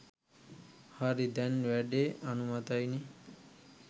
හරි දැන් වැඩේ අනුමතයිනේ